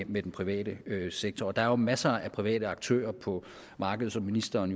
med den private sektor der er jo masser af private aktører på markedet som ministeren